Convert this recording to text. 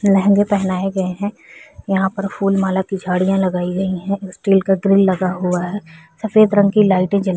लहंगे पहनाए गए है यहाँ पर फूल माला की झड़ियाँ लगाई गई है स्टील का ग्रील लगा हुआ है सफ़ेद रंग की लाइटे जल --